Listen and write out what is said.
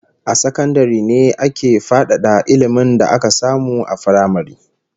A sakandare ne ake fadada ilmin da aka samu a firamare